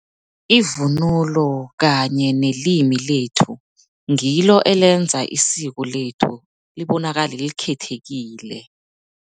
Ivunulo kanye nelimi lethu, ngilo elenza isiko lethu libonakale likhethekile.